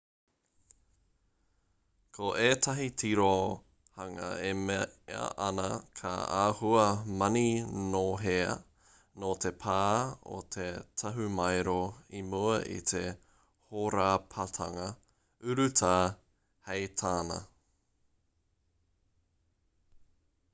ko ētahi tirohanga e mea ana ka āhua maninohea noa te pā o te tahumaero i mua i te hōrapatanga urutā hei tāna